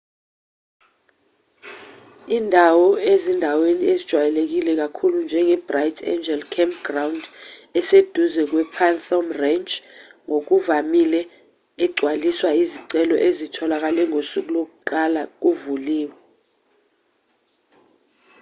indawo ezindaweni ezijwayeleke kakhulu njenge-bright angel campground eseduze kwe-phantom ranch ngokuvamile egwaliswa izicelo ezitholakale ngosuku lokuqala kuvuliwe